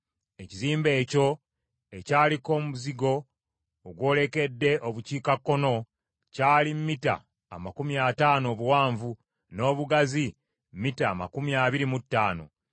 Ekizimbe ekyo ekyaliko omuzigo ogwolekedde Obukiikakkono, kyali mita amakumi ataano obuwanvu, n’obugazi mita amakumi abiri mu ttaano.